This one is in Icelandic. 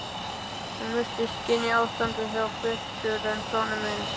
Hún virtist skynja ástandið betur en sonur minn.